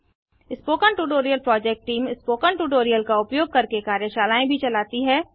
spoken tutorial project team spoken tutorial का उपयोग करके कार्यशालाएँ भी चलाती है